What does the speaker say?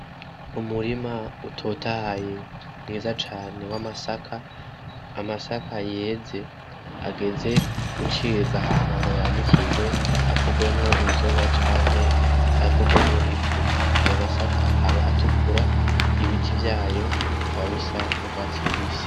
Umurima utotahaye mwiza cane w' masaka amasaka yeze ageze gucibwa ahama ngo yanikiwe akorwemwo inzoga canke akorwemwo ifu ayo masaka akaba atukura ibiti vyayo kaba bisa n'urwatsi rubisi.